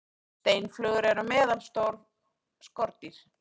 steinflugur eru meðalstór skordýr